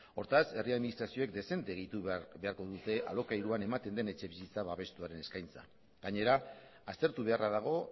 hortaz herri administrazioak dezente gehitu beharko dute alokairuan ematen den etxebizitza babestuaren eskaintza gainera aztertu beharra dago